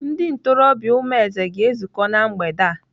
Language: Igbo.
Ndị ntorobịa Umueze ga-ezukọ na mgbede a.